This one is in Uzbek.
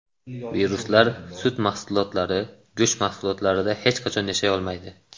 Viruslar sut mahsulotlari, go‘sht mahsulotlarida hech qachon yashay olmaydi.